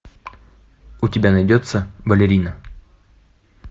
у тебя найдется балерина